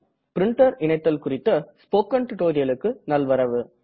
printer இணைத்தல் குறித்த spoken டுடோரியலுக்கு நல்வரவு